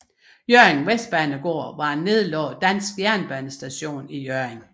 Hjørring Vestbanegård var en nedlagt dansk jernbanestation i Hjørring